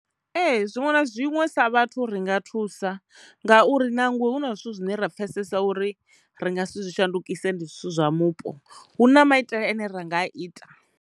Ee, zwiṅwe na zwiṅwe sa vhathu ri nga thusa ngauri nangwe hu na zwithu zwine ra pfesesa uri ri nga zwithu zwi shandukise ndi zwithu zwa mupo, hu na maitele ane ra nga a ita.